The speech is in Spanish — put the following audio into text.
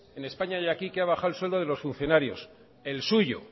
en españa y aquí que ha bajado el sueldo de los funcionario el suyo